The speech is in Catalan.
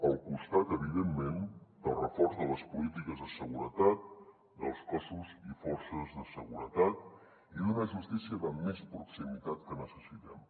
al costat evidentment del reforç de les polítiques de seguretat dels cossos i forces de seguretat i d’una justícia de més proximitat que necessitem